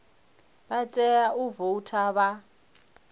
vha tea u voutha vha